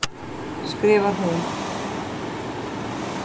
skrifar hún.